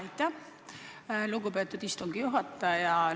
Aitäh, lugupeetud istungi juhataja!